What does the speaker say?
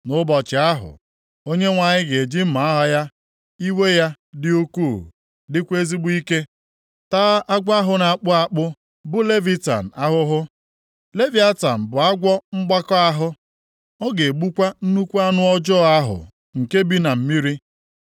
Nʼụbọchị ahụ, Onyenwe anyị ga-eji mma agha ya iwe ya, dị ukwuu dịkwa ezigbo ike, taa agwọ ahụ na-akpụ akpụ bụ Leviatan ahụhụ. Leviatan bụ agwọ mgbakọ ahụ; ọ ga-egbukwa nnukwu anụ ọjọọ ahụ nke bi na mmiri.